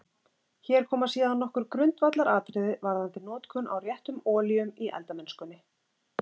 Hér koma síðan nokkur grundvallaratriði varðandi notkun á réttum olíum í eldamennskunni.